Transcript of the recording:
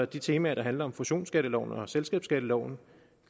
de temaer der handler om fusionsskatteloven og selskabsskatteloven